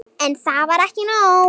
En það var ekki nóg.